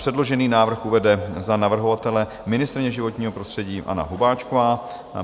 Předložený návrh uvede za navrhovatele ministryně životního prostředí Anna Hubáčková.